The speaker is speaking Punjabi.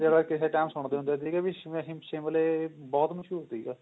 ਦੇ ਬਾਰੇ ਕਿਸੇ time ਸੁਣਦੇ ਹੁੰਦੇ ਸੀਗੇ ਵੀ ਨਹੀਂ ਸ਼ਿਮਲੇ ਬਹੁਤ ਮਸ਼ਹੂਰ ਸੀਗਾ